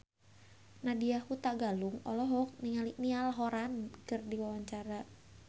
Nadya Hutagalung olohok ningali Niall Horran keur diwawancara